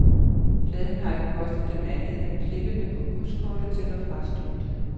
Pladen har ikke kostet dem andet end klippene på buskortet til og fra studiet.